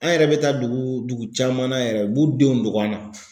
An yɛrɛ bɛ taa dugu dugu caman na yɛrɛ u b'u denw dogo an na